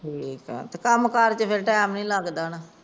ਠੀਕ ਏ, ਕੰਮ ਕਾਰ Time ਨਹੀਂ ਲੱਗਦਾ।